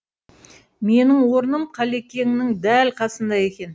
менің орным қалекеңнің дәл қасында екен